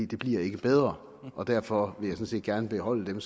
det bliver ikke bedre derfor vil jeg sådan set gerne beholde dem